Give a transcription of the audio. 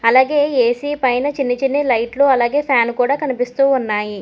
అలాగే ఏ_సీ పైన చిన్న చిన్న లైట్లు అలాగే ఫ్యాన్ కూడా కనిపిస్తూ ఉన్నాయి.